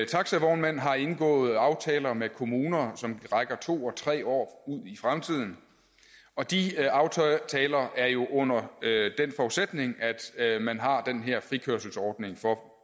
taxavognmænd har indgået aftaler med kommuner som rækker to og tre år ud i fremtiden og de aftaler er jo under den forudsætning at man har den her frikørselsordning for